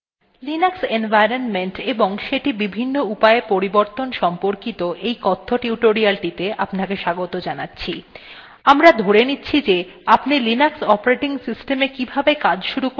নমস্কার বন্ধুগণ Linux environment এবং সেটি বিভিন্ন উপায়ে পরিবর্তন সম্পর্কিত এই কথ্য টিউটোরিয়ালটিতে আপনাকে স্বাগত জানাচ্ছি